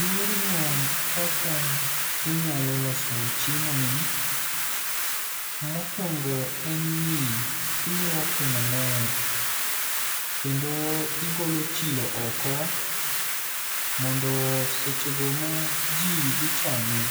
Yorno kaka inyalo loso chiemo ni, mokwongo en ni ilwoke maler. Kendo igolo chilo oko mondo seche go ma ji dhi chame,